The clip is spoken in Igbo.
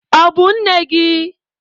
Ọ bụ nne gị?